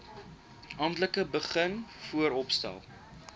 amptelik begin vooropstel